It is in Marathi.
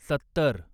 सत्तर